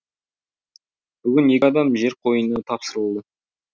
бүгін екі адам жер қойнына тапсырылды